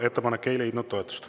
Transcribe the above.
Ettepanek ei leidnud toetust.